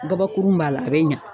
Gabakuru b'a la a bɛ ɲa.